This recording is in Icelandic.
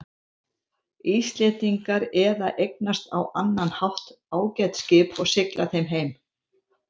Íslendingar eða eignast á annan hátt ágæt skip og sigla þeim heim.